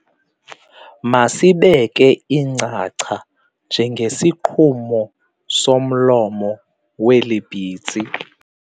Masibeke icangca njengesigqumo somlomo weli pitsi.